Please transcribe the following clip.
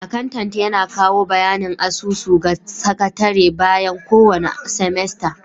Akantant yana kawo bayanin asusu ga sakatare bayan kowane semester.